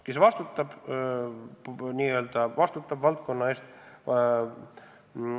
Kes vastutab valdkonna eest?